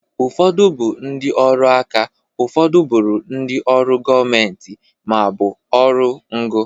Ụfọdụ bụ ndị ọrụ aka, ụfọdụ bụrụ ndị ọrụ gọmenti ma ọ bụ ọrụ ngo.